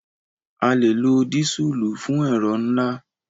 A lè lo dísùlù fún ẹ̀rọ ńlá.